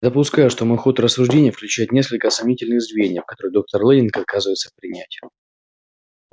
допускаю что мой ход рассуждений включает несколько сомнительных звеньев которые доктор лэннинг отказывается принять